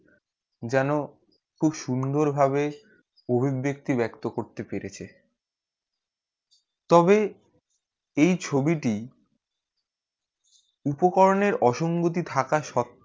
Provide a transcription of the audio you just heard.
যেন খুব সুন্দর ভাবে অভিব্যক্তি ব্যক্ত করতে পেরেছে তবে এই ছবি টি উপকরণে অসঙ্গতি থাকা স্বত্তেও